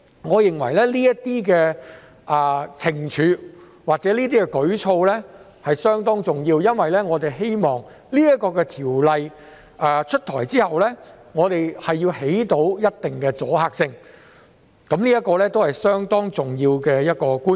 我認為這些懲處或舉措相當重要，因為我們希望條例出台後能產生一定的阻嚇性，這是相當重要的觀點。